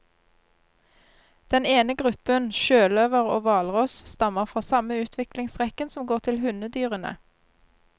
Den ene gruppen, sjøløver og hvalross, stammer fra samme utviklingsrekken som går til hundedyrene.